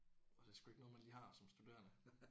Og det er sgu ikke noget man lige har som studerende